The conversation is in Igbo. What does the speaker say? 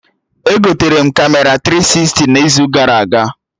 Egotere m Kamera tiri sisti n'izu gara aga